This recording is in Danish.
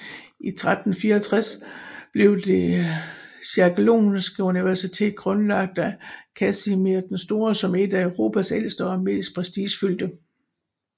I 1364 blev Det jagellonske universitet grundlagt af Kasimir den Store som et af Europas ældste og mest prestigefyldte